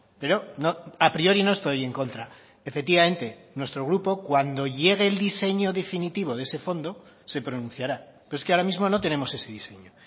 pero a priori no estoy en contra efectivamente nuestro grupo cuando llegue el diseño definitivo de ese fondo se pronunciará pero es que ahora mismo no tenemos ese diseño